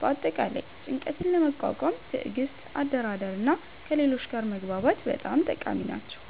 በአጠቃላይ ጭንቀትን ለመቋቋም ትዕግስት፣ አደራደር እና ከሌሎች ጋር መግባባት በጣም ጠቃሚ ናቸው።